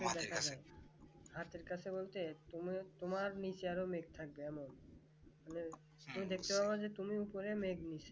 হাতের কাছে বলতে তুমি তোমার নিজের মেঘ থাকবে এমন তুমি দেখতে পাবাজে তুমি উপরে মেঘ নিচে